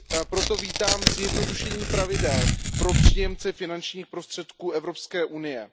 Proto vítám zjednodušení pravidel pro příjemce finančních prostředků Evropské unie.